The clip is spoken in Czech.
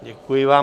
Děkuji vám.